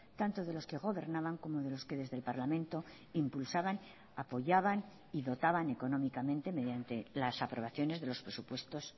tanto de los que gobernaban como de los que desde el parlamento impulsaban apoyaban y dotaban económicamente mediante las aprobaciones de los presupuestos